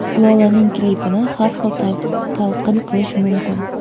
Lolaning klipini har xil talqin qilish mumkin.